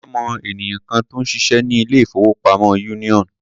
Àdùkẹ́ mọ ènìyàn kan tó ń ṣiṣẹ́ ní ilé-ìfowópamọ́ Union.